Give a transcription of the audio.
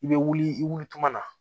I bɛ wuli i wuli tuma na